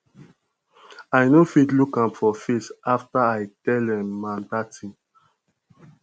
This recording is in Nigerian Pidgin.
i no fit look am for face after i tell um am dat thing